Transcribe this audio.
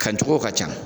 Ka jogow ka ca